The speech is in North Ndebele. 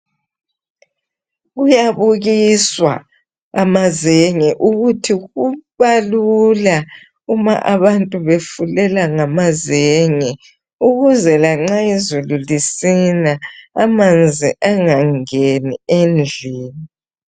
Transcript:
Kuyabukiswa amazenge ukuthi kubalula uma abantu befulela ngamazenge ukuze lanxa izulu lisina amanzi angangeni endlini.